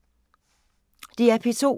DR P2